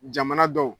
Jamana dɔw